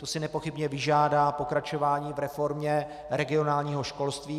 To si nepochybně vyžádá pokračování v reformě regionálního školství.